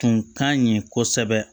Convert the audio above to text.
Tun ka ɲi kosɛbɛ